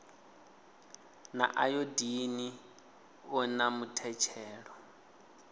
na ayodini u na muthetshelo